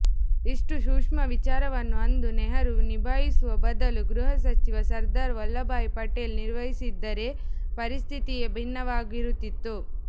ಇಷ್ಟು ಸೂಷ್ಮ ವಿಚಾರವನ್ನು ಅಂದು ನೆಹರು ನಿಭಾಯಿಸುವ ಬದಲು ಗೃಹ ಸಚಿವ ಸರ್ದಾರ್ ವಲ್ಲಭಾಯಿ ಪಟೇಲ್ ನಿರ್ವಹಿಸಿದ್ದರೆ ಪರಿಸ್ಥಿತಿಯೇ ಭಿನ್ನವಾಗಿರುತ್ತಿತ್ತು